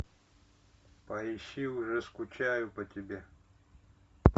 поищи уже скучаю по тебе